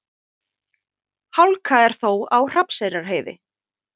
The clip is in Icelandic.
Hálka er þó á Hrafnseyrarheiði